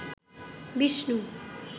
Vishnu